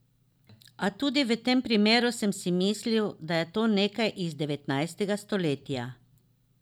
A tudi v tem primeru sem si mislil, da je to nekaj iz devetnajstega stoletja.